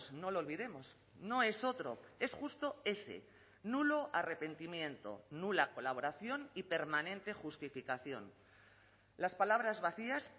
no lo olvidemos no es otro es justo ese nulo arrepentimiento nula colaboración y permanente justificación las palabras vacías